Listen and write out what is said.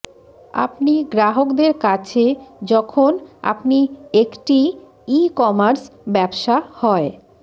আপনি গ্রাহকদের আছে যখন আপনি একটি ই কমার্স ব্যবসা হয়